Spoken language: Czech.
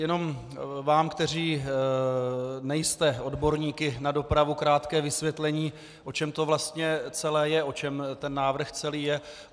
Jenom vám, kteří nejste odborníky na dopravu, krátké vysvětlení, o čem to vlastně celé je, o čem ten návrh celý je.